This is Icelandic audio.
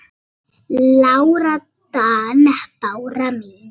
Lára Dan. Bára mín.